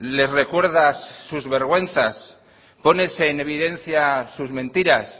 les recuerdas sus vergüenzas pones en evidencia sus mentiras